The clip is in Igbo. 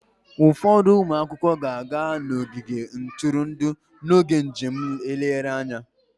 Ụfọdụ ụmụ akwụkwọ ga-aga n'ogige ntụrụndụ n'oge njem nlegharị anya